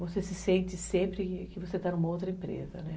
Você se sente sempre que você está em uma outra empresa, né?